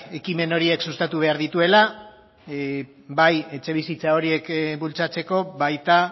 ekimen horiek sustatu behar dituela bai etxebizitza horiek bultzatzeko baita